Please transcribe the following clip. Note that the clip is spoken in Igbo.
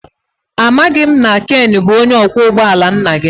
Amaghị m na Ken bụ onye ọkwọ ụgbọ ala nna gị